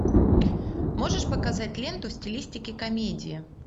можешь показать ленту в стилистике комедия